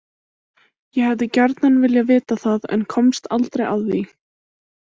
Ég hefði gjarnan viljað vita það en komst aldrei að því.